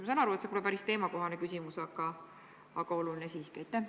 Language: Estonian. Ma saan aru, et see pole päris teemakohane küsimus, aga oluline siiski.